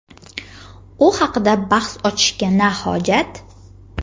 u haqida bahs ochishga na hojat!.